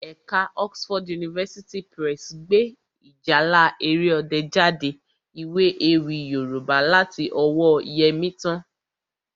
Ẹ̀ka Oxford University Press gbé Ìjálá Èrè Ọdẹ jáde, ìwé ewì Yorùbá láti ọwọ́ọ Yẹmítán